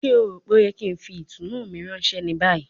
Ṣe o ro pe o yẹ ki n fi itunu mi ranṣẹ ni bayi?